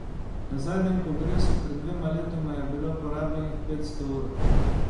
Na zadnjem kongresu pred dvema letoma je bilo porabljenih petsto ur.